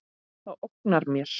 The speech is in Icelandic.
Það ógnar mér.